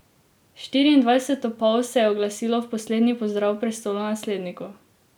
Štiriindvajset topov se je oglasilo v poslednji pozdrav prestolonasledniku.